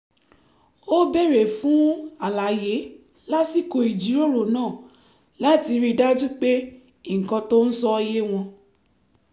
ó béèrè fún àlàyé lásìkò ìjíròrò náà láti rí i dájú pé nǹkan tó ń sọ yé wọn